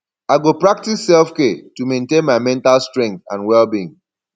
i go practice selfcare to maintain my mental strength and wellbeing